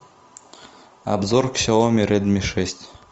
обзор ксиоми редми шесть